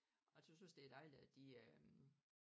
Jeg tøs det er dejligt at de øh